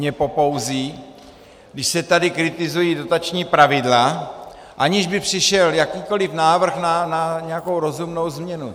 Mě popouzí, když se tady kritizují dotační pravidla, aniž by přišel jakýkoliv návrh na nějakou rozumnou změnu.